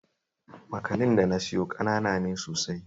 Makanin da na siyo ƙanana ne sosai